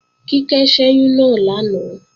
Kíkẹ́ ṣẹ́yún náà lánàá